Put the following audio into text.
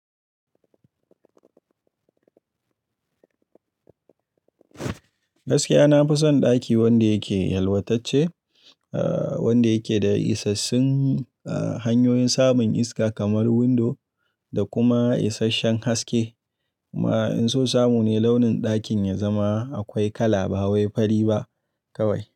Gaskiya na fi son ɗaki wanda yake yalwatacce, ah wanda yake da isassun ah hanyoyin samun iska kamar windo da kuma isasshen haske. Kuma in so samu ne launin ɗakin ya zama akwai kala ba wai fari ba kawai.